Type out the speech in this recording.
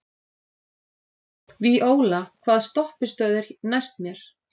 Víóla, hvaða stoppistöð er næst mér?